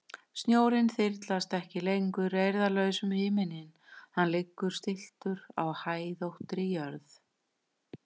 Snjórinn þyrlast ekki lengur eirðarlaus um himininn, hann liggur stilltur á hæðóttri jörð.